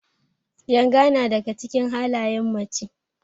Yanga na daga cikin halayen mace.